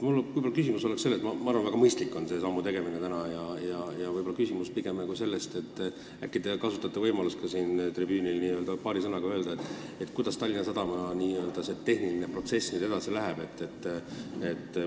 See tänane samm on väga mõistlik, aga äkki te kasutate võimalust siin puldis paari sõnaga öelda, kuidas see Tallinna Sadamaga seotud tehniline protsess nüüd edasi läheb.